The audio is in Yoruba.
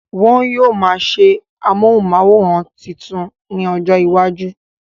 Wọn yóò máa ṣe amóhùnmáwòrán tuntun ní ọjọ iwájú